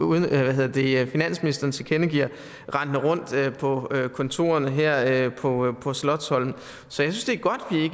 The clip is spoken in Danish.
finansministeren tilkendegiver rendende rundt på kontorerne her på på slotsholmen så